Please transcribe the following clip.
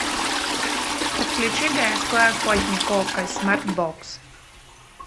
подключи городской охотник окко смартбокс